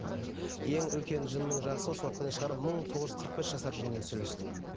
ең үлкен жынның жасы осы уақытқа дейін шығар мың тоғыз жүз қырық бес жасар жынмен сөйлестім